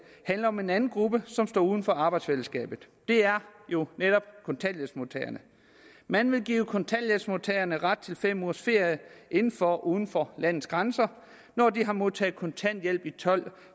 handler om en anden gruppe som står uden for arbejdsfællesskabet det er jo netop kontanthjælpsmodtagerne man vil give kontanthjælpsmodtagerne ret til fem ugers ferie inden for eller uden for landets grænser når de har modtaget kontanthjælp i tolv